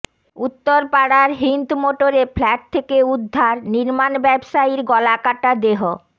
উত্তরপাড়ার হিন্দমোটরে ফ্ল্যাট থেকে উদ্ধার নির্মাণ ব্যবসায়ীর গলাকাটা দেহ